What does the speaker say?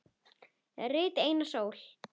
Rit Einars Ól.